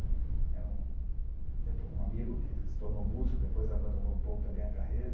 Era um depo um amigo que se tornou músico, depois abandonou um pouco também a carreira.